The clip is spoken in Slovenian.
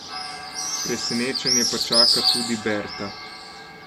Presenečenje pa čaka tudi Berta.